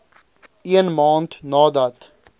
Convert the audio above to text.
een maand nadat